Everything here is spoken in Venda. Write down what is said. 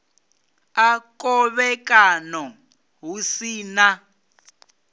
a khovhekano hu si na